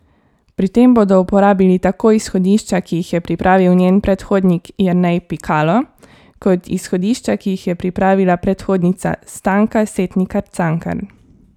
Pri tem bodo uporabili tako izhodišča, ki jih je pripravil njen predhodnik Jernej Pikalo, kot izhodišča, ki jih je pripravila predhodnica Stanka Setnikar Cankar.